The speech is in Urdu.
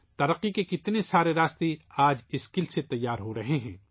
ترقی کے کتنے راستے آج ہنر سے تیار ہو رہے ہیں